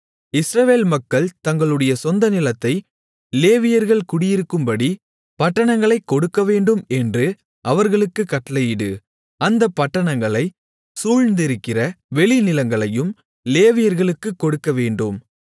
இஸ்ரவேல் மக்கள் தங்களுடைய சொந்த நிலத்தை லேவியர்கள் குடியிருக்கும்படி பட்டணங்களைக் கொடுக்கவேண்டும் என்று அவர்களுக்குக் கட்டளையிடு அந்தப் பட்டணங்களைச் சூழ்ந்திருக்கிற வெளிநிலங்களையும் லேவியர்களுக்குக் கொடுக்கவேண்டும்